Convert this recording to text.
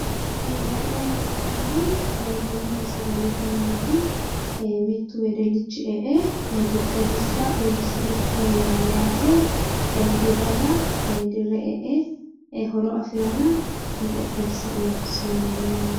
La'nayi hee'noommohu bununna sagalete mineeti. Mittu wedellichi e''e xexxerrisira uurisire leellayi no yaate. Dirrara dirre e'e horo afirara xexxerrisira uurrisirayi leellawo yaate.